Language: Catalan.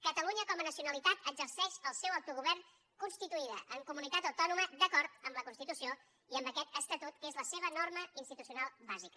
catalunya com a nacionalitat exerceix el seu autogovern constituïda en comunitat autònoma d’acord amb la constitució i amb aquest estatut que és la seva norma institucional bàsica